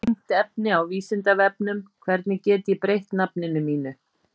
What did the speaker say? Tengt efni á Vísindavefnum: Hvernig get ég breytt nafninu mínu?